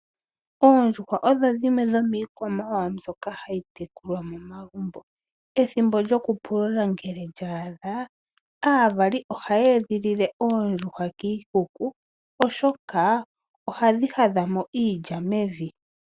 Oondjuhwa odho dhimwe dhomiikwamawawa mbyoka hayi tekulwa momagumbo. Ethimbo lyoku pulula ngele lya adha, aavali ohaa edhilile oondjuhwa kiikuku, oshoka ohadhi hadha mo iilya mevi.